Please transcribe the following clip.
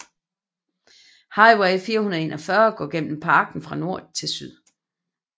Highway 441 går gennem parken fra nord til syd